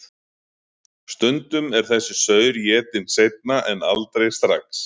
Stundum er þessi saur étinn seinna en aldrei strax.